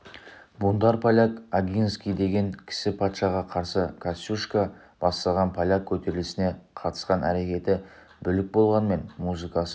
бунтарь поляк огинский деген кісі патшаға қарсы костюшко бастаған поляк көтерілісіне қатысқан әрекеті бүлік болғанмен музыкасы